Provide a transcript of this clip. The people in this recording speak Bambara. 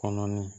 Kɔnɔnin